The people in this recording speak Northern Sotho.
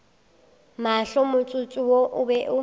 mahlo motsotso wo o be